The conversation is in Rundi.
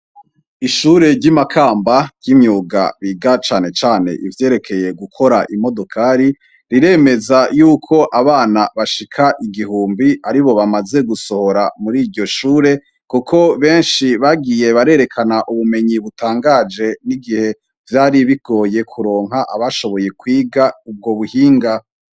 ishure ry'imakamba ry'imyuga biga cane cane ibyerekeye gukora imodokari riremeza yuko abana bashika igihumbi ari bo bamaze gusohora muri iryo shure kuko benshi bagiye barerekana ubumenyi butangaje n'igihe byari bigoye kuronka abashoboye kwiga ubwo buhinga